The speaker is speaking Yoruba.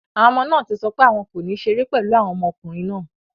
Àwọn ọmọ náà ti sọ pé àwọn kò ní ṣeré pẹ̀lú àwọn ọmọkùnrin náà.